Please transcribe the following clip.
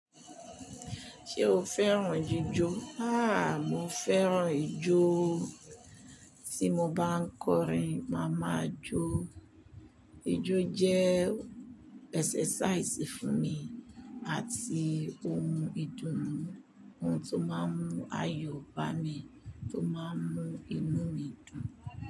Ṣé o fẹ́ràn jíjò? Háà! Mo fẹ́ràn ijó. Tí mo bá ń kọrin, màá máa jó. Ijó jẹ́ exercise fún mi àti ó oún ìdùnnú, ohun tó máa ń mú ayọ̀ bá mi, tó máa ń mú inú mi dùn.